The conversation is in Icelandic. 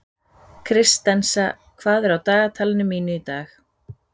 Kristensa, hvað er á dagatalinu mínu í dag?